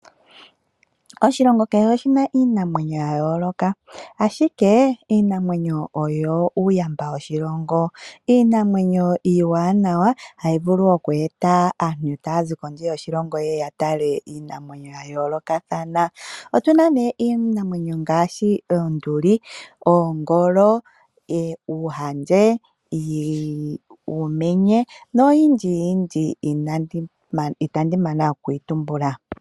Oshilongo kehe oshina iinamwenyo ya yooloka, ashike iinamwenyo oyo uuyamba woshilongo. Iinamwenyo iiwanawa hayi vulu oku eta aantu taya zi kondje yoshilongo yeye ya tale iinamwenyo ya yoolokathana. Otuna nee ngaashi Oonduli, Oongolo, Uuhandje, Uumenye noyindji yindji itandi mana okuyi tumbula.